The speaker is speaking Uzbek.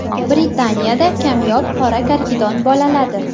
Britaniyada kamyob qora karkidon bolaladi.